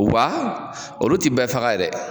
U ba olu ti bɛɛ faga ye dɛ!